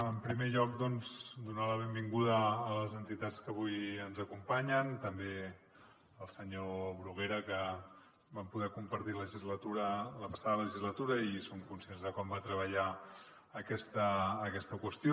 en primer lloc doncs donar la benvinguda a les entitats que avui ens acompanyen també al senyor bruguera que vam poder compartir la passada legislatura i som conscients de com va treballar aquesta qüestió